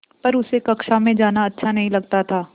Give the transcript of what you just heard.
पर उसे कक्षा में जाना अच्छा नहीं लगता था